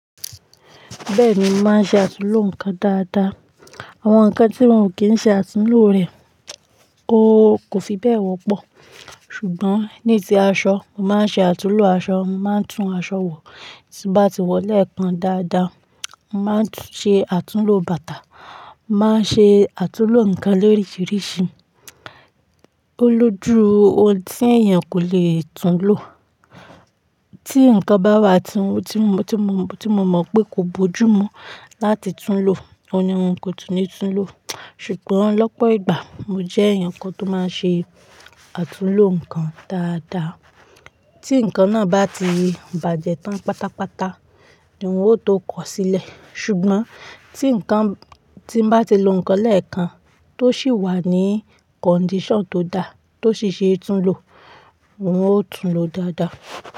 Bẹ́ẹ̀ni, mo màá ṣe àtúnlo nǹkan dáadáa. Àwọn nǹkan tí wọn ò kí n ṣe àtúnlo rẹ̀, kò fi bẹ́ẹ̀ wọ́pọ̀. Ṣùgbọ́n ní ti aṣọ, mo màá n ṣe àtúnlo aṣọ, màá n tún aṣọ wò. Tí n bá ti wọ̀ lẹ́ẹ̀kan dáadáa, mo màá ṣe àtúnlo bàtà, mo màá ṣe àtúnlo nǹkan lóríṣiríṣi. O lójú ohun tí èèyàn kò lè túnlo. Tí nǹkan bá wà tí mo, tí mo, tí mo mọ̀ pé kò bójú mú láti túnlo, òun ni wọn kò túnní túnlo. Ṣùgbọ́n lọ́pọ̀ ìgbà mo jẹ́ ẹ̀yàn kan tó máa n ṣe àtúnlo nǹkan dáadáa. Tí nǹkan náà bá ti bàjẹ́ tán pátápátá, ni wọn ó tó kọ̀ sílẹ̀. Ṣùgbọ́n tí nǹkan, tí mo bá ti lo nǹkan lẹ́ẹ̀kan tó sì wà ní condition tó da, tó sì ṣe é túnlo, wọn ó túnlo dáadáa.